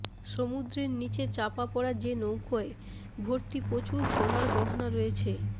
সমুদ্রের নিচে চাপা পড়া যে নৌকায় ভর্তি প্রচুর সোনার গয়না রয়েছে